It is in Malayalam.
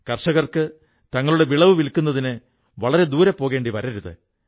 കർഷകർക്ക് തങ്ങളുടെ വിളവ് വില്ക്കുന്നതിന് വളരെ ദൂരെ പോകേണ്ടി വരരുത്